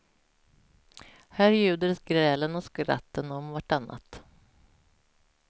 Här ljuder grälen och skratten om vartannat.